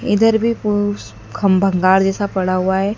इधर भी कुछ ख भंगार जैसा पड़ा हुआ है।